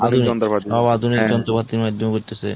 সব আধুনিক যন্ত্র পাতি মাধ্যমে করতেছে।